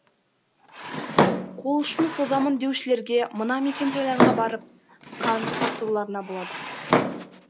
қол ұшын созамын деушілерге мына мекенжайларға барып қан тапсыруларына болады